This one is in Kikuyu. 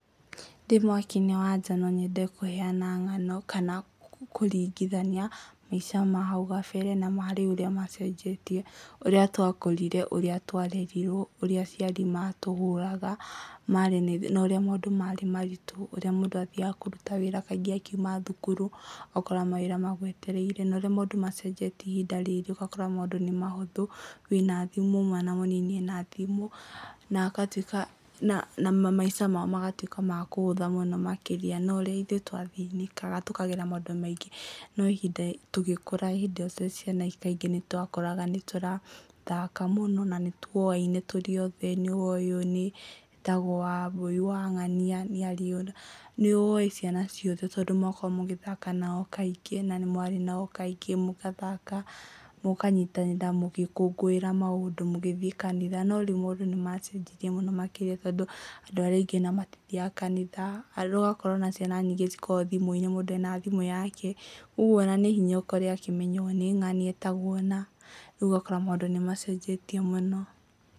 Ndĩ mwaka-inĩ wa nja no nyende kũheana ng'ano kana kũringithania maica mahau kabere na marĩũ ũrĩa macenjetie, ũrĩa twakũrire, ũrĩa twarerirwo, ũrĩa aciari matũhũraga marĩ na ũrĩa maũndũ marĩ maritũ, ũrĩa mũndũ athiaga kũruta wĩra kaingĩ akiuma thukuru ũgakora mawĩra magwetereire na ũrĩa maũndũ macenjetie ihinda rĩrĩ ũgakora maũndũ nĩ mahũthũ , wĩna thimũ mwana mũnini ena thimũ, na agatuĩka na na maisha mao magatuĩka ma kũhũtha mũno makĩria no ũrĩa ithuĩ twathĩnĩkaga tukagera maũndũ maingĩ no ihinda tũgĩkũra hĩndĩ ĩyo twĩ ciana kaingĩ nĩtwakoraga nĩtũrathaka mũno na nĩtuoaine tũrĩ othe nĩwoĩ ũyũ nĩ etagwo Wambui wa ng'ania nĩarĩ nĩwoĩ ciana ciothe tondũ mwakoragwo mugĩthaka nao kaingĩ na nĩmwarĩ nao kaingĩ rĩu mũgathaka, mũkanyitanĩra mũgĩkũngũĩra maũndũ, mũgĩthiĩ kanitha no rĩu maũndũ nimacenjirie mũno makĩria tondũ andũ arĩa aingĩ matithiaga kanitha, ũgakora ciana nyingĩ ikoragwo thimũ-inĩ o mũndũ ena thimũ yake, ũguo onanĩ hinya ũkore akĩmenya ũyũ nĩ ng'ania etagwo ũna, rĩu ũgakora maũndũ nimacenjetie muno.